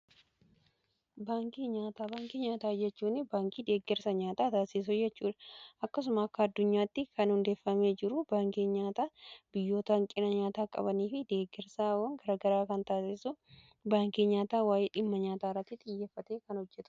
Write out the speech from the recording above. Baankii nyaataa baankii nyaataa jechuun baankii deeggersa nyaataa taassisu jechuudha. Akkasumas akka addunyaatti kan hundeeffamee jiru baankii nyaataa biyyootan hanqina nyaataa qabanii fi deggersaawwan garagaraa kan taasisu baankii nyaataa waa'ee dhimma nyaataarratti xiyyeffatee kan hojjetudha.